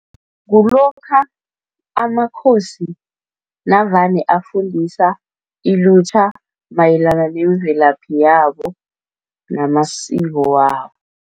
Kulokha amakhosi navane afundisa ilutjha mayelana nemvelaphi yabo namasiko wabo.